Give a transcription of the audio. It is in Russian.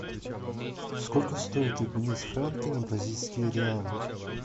сколько стоит обменять франки на бразильские реалы